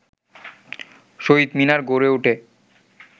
শহীদ মিনার গড়ে ওঠে